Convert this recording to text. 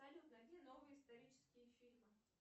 салют найди новые исторические фильмы